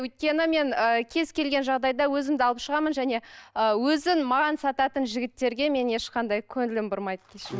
өйткені мен ы кез келген жағдайда өзімді алып шығамын және ы өзін маған сататын жігіттерге мен ешқандай көңілім бұрмайды